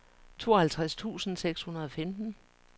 tooghalvtreds tusind seks hundrede og femten